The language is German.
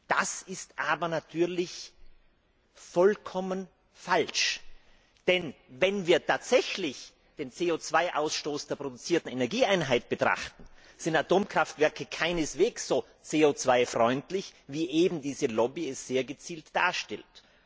Das ist aber natürlich vollkommen falsch. Denn wenn wir tatsächlich den CO 2 Ausstoß der produzierten Energieeinheit betrachten, sind Atomkraftwerke keineswegs so CO 2 freundlich wie eben diese Lobby es sehr gezielt darstellt.